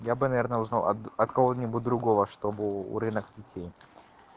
я бы наверное узнаа от кого-нибудь другого чтобы у рынок детей